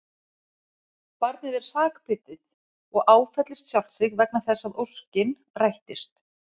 Barnið er sakbitið og áfellist sjálft sig vegna þess að óskin rættist.